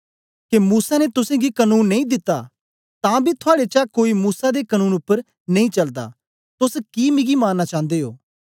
के मूसा ने तुसेंगी कनून नेई दित्ता तां बी थुआड़े चा कोई मूसा दे कनून उपर नेई चलदा तोस कि मिगी मारना चांदे ओ